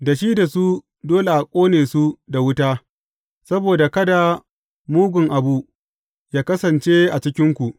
Da shi da su, dole a ƙone su da wuta, saboda kada mugun abu yă kasance a cikinku.